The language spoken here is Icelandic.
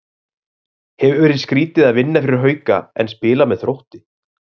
Hefur verið skrýtið að vinna fyrir Hauka en spila með Þrótti?